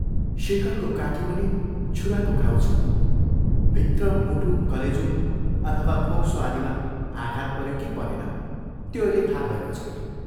शेखरको काखीमुनि छुराको घाउ छ भित्र मुटु, कलेजो अथवा फोक्सो आदिमा आघात पऱ्यो कि परेन त्यो अहिले थाह भएको छैन।